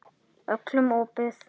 Öllum opið.